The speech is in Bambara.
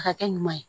A ka kɛ ɲuman ye